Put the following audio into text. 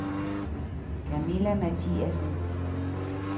Kamilla Mathiasen